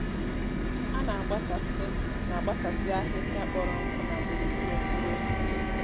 ha na àgbásàsí na àgbásàsí ahịhịa kpọrọ nkụ nà gburugburu mkpụrụ osisi.